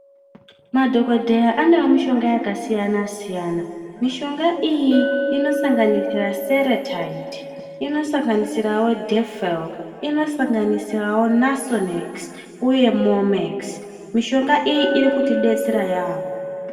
Madhokodheya ane mishonga yakasiyana siyana mishonga iyi inosanganisira seretide inosanganisirawo defal inosanganisirawo Nasonex uye momex mishonga iri kuti detsera yambo.